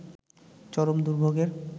চরম দুর্ভোগের